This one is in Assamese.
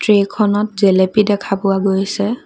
ট্ৰেখনত জেলেপি দেখা পোৱা গৈছে।